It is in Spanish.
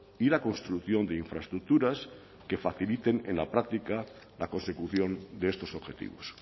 y la construcción de infraestructuras que faciliten en la práctica la consecución de estos objetivos